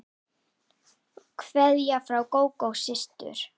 Kveðja frá Gógó systur.